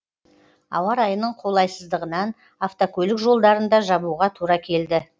ауа райының қолайсыздығынан автокөлік жолдарын да жабуға тура келді